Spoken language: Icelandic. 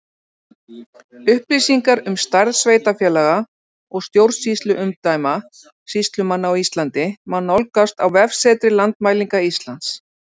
Upplýsingar um stærð sveitarfélaga og stjórnsýsluumdæma sýslumanna á Íslandi má nálgast á vefsetri Landmælinga Íslands.